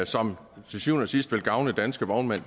som til syvende og sidst vil gavne danske vognmænd